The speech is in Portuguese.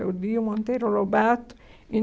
Eu li o Monteiro Lobato em